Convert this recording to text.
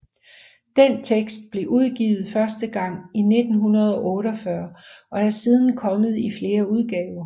Den tekst blev udgivet første gang i 1948 og er siden kommet i flere udgaver